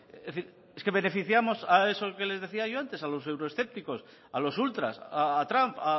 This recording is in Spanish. es decir es que beneficiamos a esos que les decía yo antes a los euroescépticos a los ultras a trump